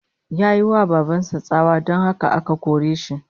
Yayi wa baban sa tsawa, don haka aka kore shi